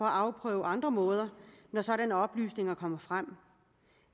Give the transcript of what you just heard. afprøve andre måder når sådanne oplysninger kommer frem